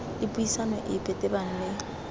le puisano epe tebang le